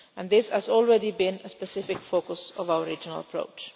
This has already been a specific focus of our regional approach.